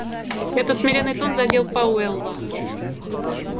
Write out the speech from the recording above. этот смиренный тон задел пауэлла